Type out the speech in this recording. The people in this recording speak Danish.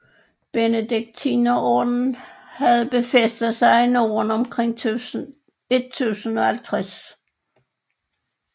Benediktinerordenen havde befæstet sig i Norden omkring 1050